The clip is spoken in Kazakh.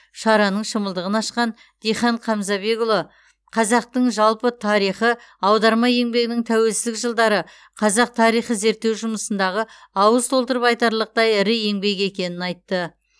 шараның шымылдығын ашқан дихан қамзабекұлы қазақтың жалпы тарихы аударма еңбегінің тәуелсіздік жылдары қазақ тарихы зерттеу жұмысындағы ауыз толтырып айтарлықтай ірі еңбек екенін айтты